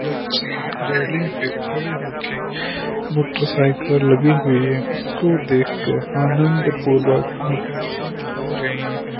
बच्चे रेलिंग पे खड़े हो के मोटरसाइकिल लगी हुई है उसको देख के आनंद पूर्वक आकर्षित हो रहे है।